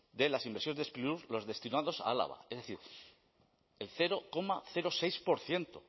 de las inversiones de sprilur los destinados a álava es decir el cero coma seis por ciento